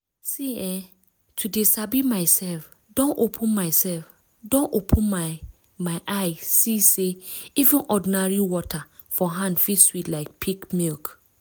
see eh to dey sabi myself don open myself don open my eye see say even ordinary water for hand fit sweet like peak milk